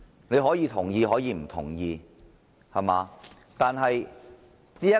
議員可以同意也大可不同意我的建議。